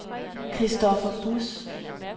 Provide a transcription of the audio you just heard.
Christopher Buus